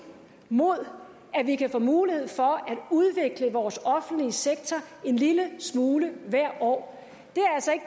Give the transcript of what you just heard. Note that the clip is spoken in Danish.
mod at vi kan få mulighed for at udvikle vores offentlige sektor en lille smule hvert år